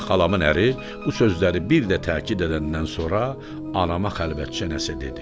Və xalamın əri bu sözləri bir də təkid edəndən sonra anama xəlvətcə nəsə dedi.